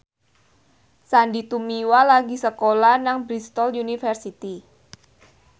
Sandy Tumiwa lagi sekolah nang Bristol university